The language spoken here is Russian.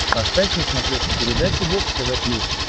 поставь на смотрешке передачу бокс тв плюс